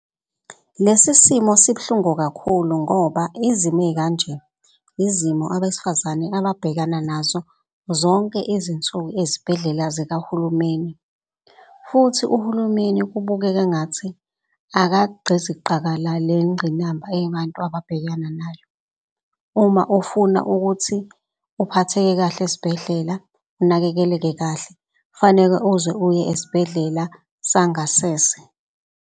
Lesi simo sibuhlungu kakhulu ngoba izimo ey'kanje izimo abesifazane ababhekana nazo zonke izinsuku ezibhedlela zikahulumeni. Futhi uhulumeni kubukeka engathi akagqiziqakala le ngqinamba eyabantu ababhekana nayo. Uma ufuna ukuthi uphatheke kahle esbhedlela, unakekeleke kahle, kufaneke uze uye esibhedlela sangasese.